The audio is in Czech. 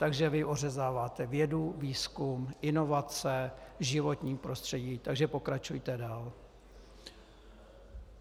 Takže vy ořezáváte vědu, výzkum, inovace, životní prostředí, takže pokračujte dál.